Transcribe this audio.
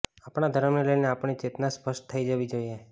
આપણા ધર્મને લઈને આપણી ચેતના સ્પષ્ટ થઈ જાવી દોઈએ